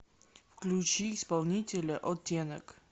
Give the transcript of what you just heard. включи исполнителя оттенок